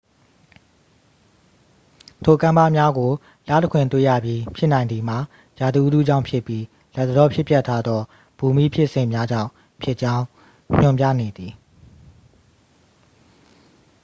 ထိုကမ်းပါးများကို လတခွင်တွေ့ရပြီး ဖြစ်နိုင်သည်မှာ ရာသီဥတုကြောင့်ဖြစ်ပြီး လတ်တလောဖြစ်ပျက်ထားသော ဘူမိဖြစ်စဉ်များကြောင့်ဖြစ်ကြောင်း ညွှန်ပြနေသည်